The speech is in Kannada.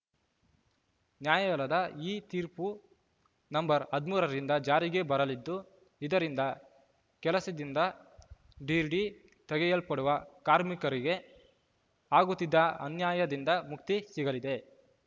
ನ್ಯಾಯಾಲಯದ ಈ ತೀರ್ಪು ನಂಬರ್ ಹದಿಮೂರ ರಿಂದ ಜಾರಿಗೆ ಬರಲಿದ್ದು ಇದರಿಂದ ಕೆಲಸದಿಂದ ದಿಢೀರ್‌ ತೆಗೆಯಲ್ಪಡುವ ಕಾರ್ಮಿಕರಿಗೆ ಆಗುತ್ತಿದ್ದ ಅನ್ಯಾಯದಿಂದ ಮುಕ್ತಿ ಸಿಗಲಿದೆ